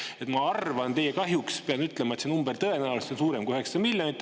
Nii et ma arvan – teie kahjuks pean ütlema –, et see number on tõenäoliselt suurem kui 900 miljonit.